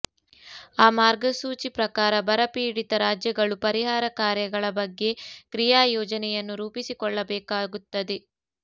ಆ ಮಾರ್ಗಸೂಚಿ ಪ್ರಕಾರ ಬರಪೀಡಿತ ರಾಜ್ಯಗಳು ಪರಿಹಾರ ಕಾರ್ಯಗಳ ಬಗ್ಗೆ ಕ್ರಿಯಾಯೋಜನೆಯನ್ನು ರೂಪಿಸಿಕೊಳ್ಳಬೇಕಾಗುತ್ತದೆ